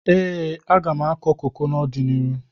Ee, m ga-akụ koko n'ọdịnihu.